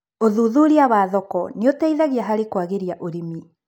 ũthuthuria wa thoko nĩũteithagia harĩ kwagĩria ũrĩmi.